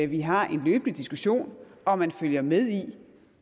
vi har en løbende diskussion og at man følger med i